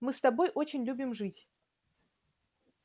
мы с тобой очень любим жить